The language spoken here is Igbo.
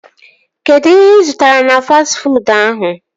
Kedụ ihe ị zụtara na fastị fuud ahụ?